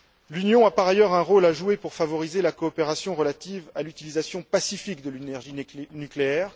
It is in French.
L'Union a, par ailleurs, un rôle à jouer pour favoriser la coopération relative à l'utilisation pacifique de l'énergie nucléaire.